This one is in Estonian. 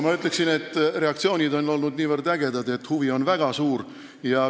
Ma ütleksin, et reaktsioonid on olnud ägedad, huvi on väga suur.